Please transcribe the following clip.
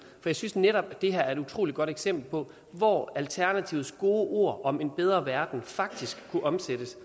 jeg synes netop at det her er et utroligt godt eksempel på hvor alternativets gode ord om en bedre verden faktisk kunne omsættes